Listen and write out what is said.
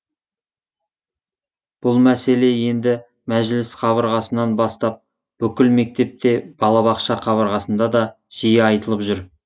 бұл мәселе енді мәжіліс қабырғасынан бастап бүкіл мектепте балабақша қабырғасында да жиі айтылып жүр